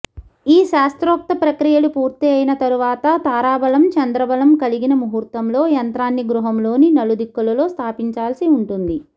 ఈ శాస్త్రోక్త ప్రక్రియలు పూర్తి అయిన తర్వాత తారాబలం చంద్రబలం కలిగిన ముహూర్తంలో యంత్రాన్ని గృహములోని నలుదిక్కులలో స్థాపించాల్సి ఉంటుంది